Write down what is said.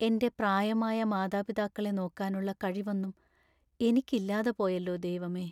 എൻ്റെ പ്രായമായ മാതാപിതാക്കളെ നോക്കാനുള്ള കഴിവൊന്നും എനിക്കില്ലാതെ പോയല്ലോ ദൈവമേ.